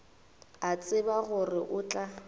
a tseba gore o tla